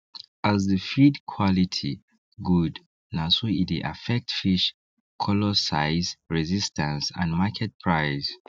as the feed quality good na so e dey affect fish color size resistance and market price